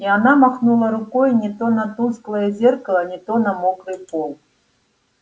и она махнула рукой не то на тусклое зеркало не то на мокрый пол